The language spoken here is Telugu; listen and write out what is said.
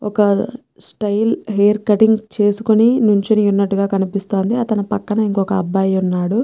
ఒక్క స్టైల్ హెయిర్ కట్టింగ్ చేసుకొని నుంచొని ఉన్నట్లుగా కనిపిస్తాందిఅతని పక్కన ఇంకో అబ్బాయి ఉన్నాడు.